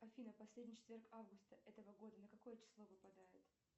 афина последний четверг августа этого года на какое число выпадает